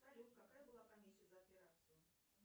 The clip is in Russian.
салют какая была комиссия за операцию